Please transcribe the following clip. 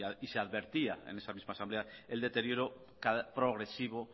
y se advertía en esa misma asamblea el deterioro progresivo